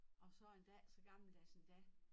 Og så endda ikke så gammeldags endda